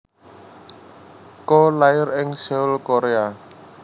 Ko lair ing Seoul Korea